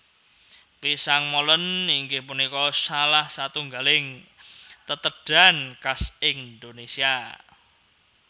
Pisang Molen inggih punika salah satunggaling tetedhan khas Indonésia